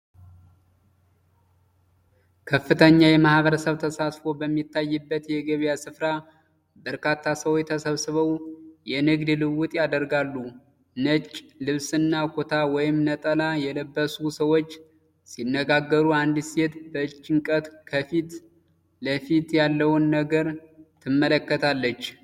ከፍተኛ የማህበረሰብ ተሳትፎ በሚታይበት የገበያ ስፍራ፣ በርካታ ሰዎች ተሰብስበው የንግድ ልውውጥ ያደርጋሉ። ነጭ ልብስና ኩታ ወይም ነጠላ የለበሱ ሰዎች ሲነጋገሩ፣ አንዲት ሴት በጭንቀት ከፊት ለፊቷ ያለውን ነገር ትመለከታለች።